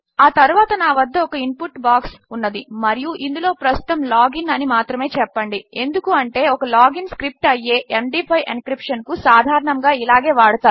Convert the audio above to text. ఆ తరువాత నా వద్ద ఒక ఇన్ పుట్ బాక్స్ ఉన్నది మరియు ఇందులో ప్రస్తుతము లాగ్ ఇన్ అని మాత్రమే చెప్పండి ఎందుకు అంటే ఒక log ఇన్ స్క్రిప్ట్ అయ్యే ఎండీ5 ఎన్క్రిప్షన్ ను సాధారణముగా ఇలాగే వాడతారు